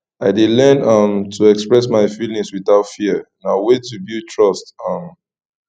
i dey learn um to express my feelings without fear na way to build trust um